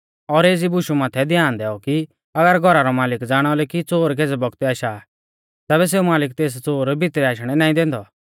और एज़ी बुशु माथै ध्यान दैऔ कि अगर घौरा रौ मालिक ज़ाणालौ कि च़ोर केज़ै बौगतै आशा आ तैबै सेऊ मालिक तेस च़ोर भितरै आशणै नाईं दैंदौ